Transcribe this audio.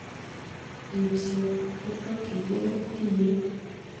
Ripset kotokyingei tiyet.